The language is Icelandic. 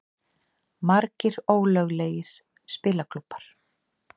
Margir ólöglegir spilaklúbbar